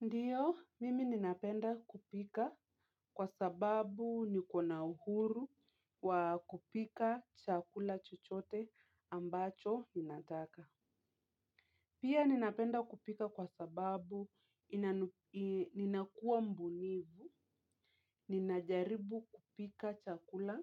Ndiyo, mimi ninapenda kupika kwa sababu niko na uhuru wa kupika chakula chochote ambacho ninataka. Pia ninapenda kupika kwa sababu ninakuwa mbunifu. Ninajaribu kupika chakula